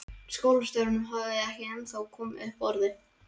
Skólastjórinn hafði ekki ennþá komið upp orði.